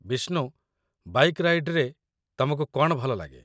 Vishnu, bike ରାଇଡ଼୍‌ରେ ତମକୁ କ'ଣ ଭଲଲାଗେ?